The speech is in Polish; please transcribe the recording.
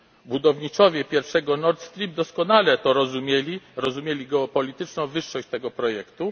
Budowniczowie pierwszego Nord Stream doskonale to rozumieli, rozumieli geopolityczną wyższość tego projektu.